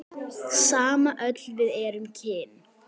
Sama öll við erum kyn.